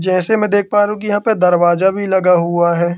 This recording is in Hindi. जैसे मैं देख पा रहा हूं कि यहां पर दरवाजा भी लगा हुआ है।